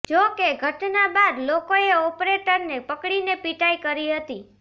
જોકે ઘટના બાદ લોકોએ ઓપરેટરને પકડીને પિટાઈ કરી હતી